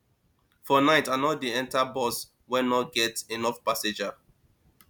for night i no dey enta bus wey no get enough passenger